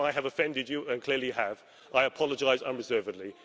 But if I have offended you and clearly I have I apologise unreservedly.